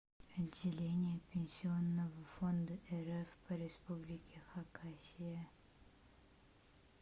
отделение пенсионного фонда рф по республике хакасия